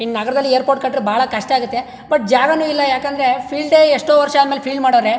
ಈ ನಗರದಲ್ಲಿ ಏರ್ಪೋರ್ಟ್ ಕಟ್ಟ್ರೆ ಬಹಳ ಕಷ್ಟ ಆಗುತ್ತೆ ಬಟ್ ಜಾಗನು ಇಲ್ಲಾ ಯಾಕಂದ್ರೆ ಫೀಲ್ಡ್ ಎಷ್ಟೋ ವರ್ಷ ಆದಮೇಲೆ ಫೀಲ್ಡ್ ಮಾಡೋರೆ.